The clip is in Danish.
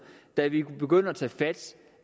da vi begynder at tage fat